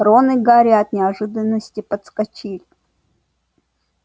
рон и гарри от неожиданности подскочили